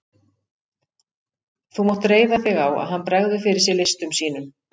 Þú mátt reiða þig á, að hann bregður fyrir sig listum sínum.